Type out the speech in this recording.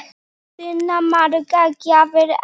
Sunna: Margar gjafir eftir?